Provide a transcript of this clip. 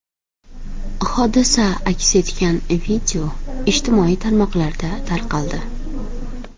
Hodisa aks etgan video ijtimoiy tarmoqlarda tarqaldi .